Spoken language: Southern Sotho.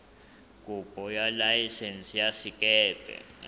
kopo ya laesense ya sekepe